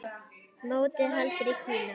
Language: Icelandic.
Mótið er haldið í Kína.